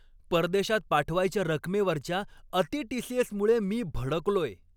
परदेशात पाठवायच्या रकमेवरच्या अति टी.सी.एस.मुळं मी भडकलोय.